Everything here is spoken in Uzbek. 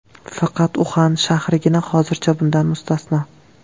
Faqat Uxan shahrigina hozircha bundan mustasno.